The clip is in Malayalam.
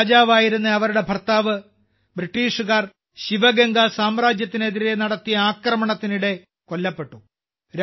അവിടെ രാജാവായിരുന്ന അവരുടെ ഭർത്താവ് ബ്രിട്ടീഷുകാർ ശിവഗംഗ സാമ്രാജ്യത്തിനെതിരെ നടത്തിയ ആക്രമണത്തിനിടെ കൊല്ലപ്പെട്ടു